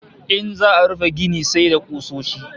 In za'a rufe gini sai da kusoshi